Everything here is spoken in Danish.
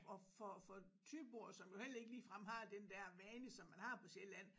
Og for for thyboere som jo heller ikke ligefrem har den der vane som man har på Sjælland